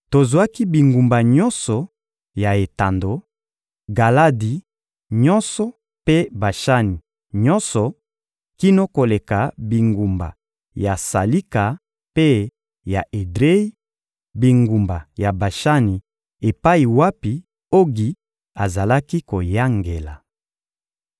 Tozwaki bingumba nyonso ya etando, Galadi nyonso mpe Bashani nyonso kino koleka bingumba ya Salika mpe ya Edreyi, bingumba ya Bashani epai wapi Ogi azalaki koyangela.